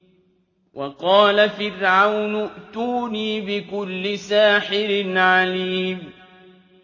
وَقَالَ فِرْعَوْنُ ائْتُونِي بِكُلِّ سَاحِرٍ عَلِيمٍ